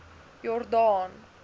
jordaan